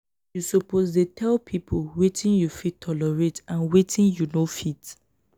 you suppose dey tell pipo wetin you fit tolerate and wetin you no fit.